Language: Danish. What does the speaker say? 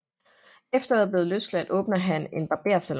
Efter at være blevet løsladt åbner han en barbersalon